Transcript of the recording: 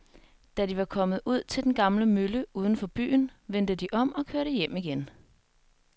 Da de var kommet ud til den gamle mølle uden for byen, vendte de om og kørte hjem igen.